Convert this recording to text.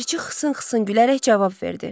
Ləpirçi xısın-xısın gülərək cavab verdi.